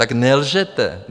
Tak nelžete.